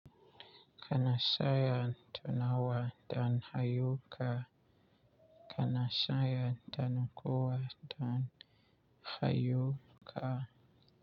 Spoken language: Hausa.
Kana shayan tunawa dan hayu ka. Kana shayan tanku wa don hayuka.